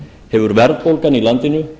hefur verðbólgan í landinu